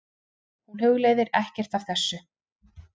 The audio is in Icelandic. Hún hugleiðir ekkert af þessu.